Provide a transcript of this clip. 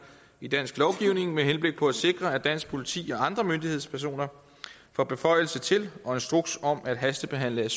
i dansk lovgivning med henblik på at sikre at dansk politi og andre myndighedspersoner får beføjelse til og instruks om at hastebehandle